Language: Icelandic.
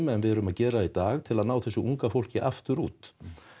en við erum að gera í dag til að ná þessu unga fólki aftur út